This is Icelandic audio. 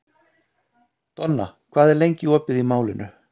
Donna, hvað er lengi opið í Málinu?